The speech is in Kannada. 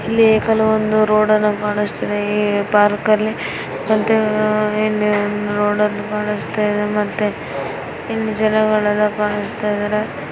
ಇಲ್ಲಿಕೆಲವೊಂದು ರೋಡ್ ಗಳು ಕಾಣಿಸ್ತಾ ಇದೆ ಪಾರ್ಕಲ್ಲಿ ಮತ್ತೆ ರೋಡ್ ಗಳು ಕಾಣಿಸ್ತಾ ಇದೆ ಮತ್ತೆ ಗಿಡಗಳೆಲ್ಲ ಕಾಣಿಸ್ತಾ ಇದಾವೆ ಆಮೇಲೆ ಇಲ್ಲಿ ಒಂದು ಪಾರ್ಕ್ ಗಳು